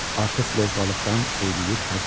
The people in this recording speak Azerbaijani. Artıq lovğalıqdan eyləyir həzər.